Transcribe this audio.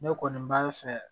Ne kɔni b'a fɛ